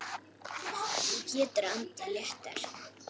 Þú getur andað léttar!